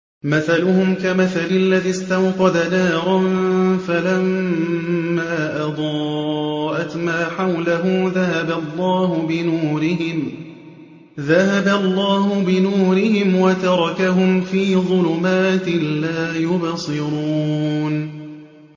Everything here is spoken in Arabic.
مَثَلُهُمْ كَمَثَلِ الَّذِي اسْتَوْقَدَ نَارًا فَلَمَّا أَضَاءَتْ مَا حَوْلَهُ ذَهَبَ اللَّهُ بِنُورِهِمْ وَتَرَكَهُمْ فِي ظُلُمَاتٍ لَّا يُبْصِرُونَ